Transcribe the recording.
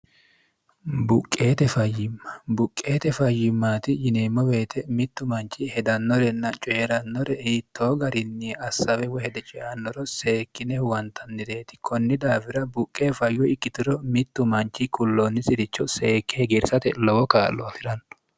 buqqeete fayyimma buqqeete fayyimmaati yineemmo beete mittu manchi hedannorenna coye'rannore hiittoo garinni assawe wohede ceannoro seekkine huwantannireeti kunni daawira buqqe fayyo ikkitiro mittu manchi qulloonni siricho seekke hegeersate lowo kaallo asi'ranno